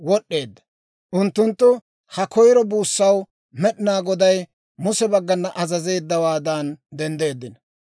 Unttunttu ha koyiro buussaw Med'inaa Goday Muse baggana azazeeddawaadan denddeeddino.